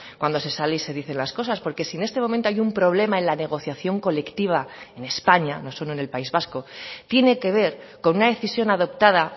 cuando se sale y se dicen las cosas porque si en este momento hay un problema en la negociación colectiva en españa no solo en el país vasco tiene que ver con una decisión adoptada